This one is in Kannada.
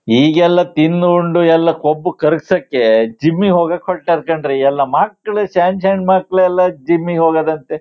ಈಗೆಲ್ಲಾ ತಿನ್ ಉಂಡು ಎಲ್ಲಾ ಕೊಬ್ಬು ಕರಗಸಕ್ಕೆ ಜಿಮ್ ಹೋಗಕ್ಕೆ ಹೊರಟರ್ ಕಣ್ರೀ ಎಲ್ಲಾ ಮಕ್ಳು ಸಣ್ಣ ಸಣ್ಣ ಮಕ್ಳ ಲೆಲ್ಲಾ ಜಿಮ್ ಹೋಗೋದಂತೆ.